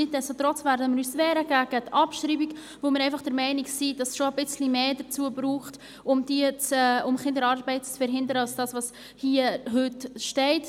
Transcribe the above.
Nichtsdestotrotz werden wir uns gegen die Abschreibung wehren, weil wir einfach der Meinung sind, dass es schon ein wenig mehr braucht, um Kinderarbeit zu verhindern, als das, was heute gültig ist.